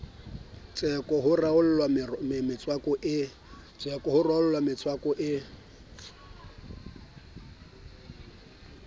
tseko ho realo mmatseko a